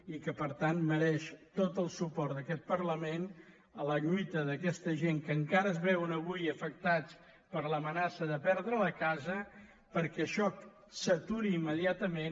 i que per tant mereix tot el suport d’aquest parlament la lluita d’aquesta gent que encara es veuen avui afectats per l’amenaça de perdre la casa perquè això s’aturi imme·diatament